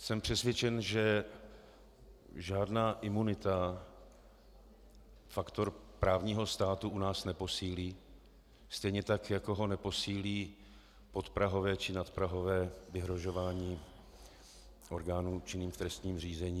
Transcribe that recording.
Jsem přesvědčen, že žádná imunita faktor právního státu u nás neposílí, stejně tak jako ho neposílí podprahové či nadprahové vyhrožování orgánům činným v trestním řízení.